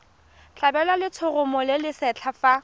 tlhabelwa letshoroma le lesetlha fa